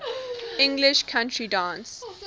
english country dance